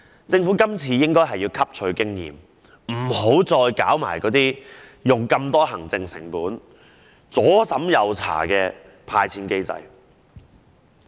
政府今次應該汲取經驗，別再採用行政成本高昂、左審右查的"派錢"機制。